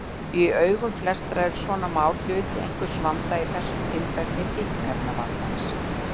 Í augum flestra eru svona mál hluti einhvers vanda, í þessu tilfelli fíkniefnavandans.